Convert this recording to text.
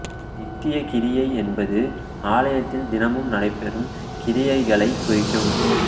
நித்தியக் கிரியை என்பது ஆலயத்தில் தினமும் நடைபெறும் கிரியைகளைக் குறிக்கும்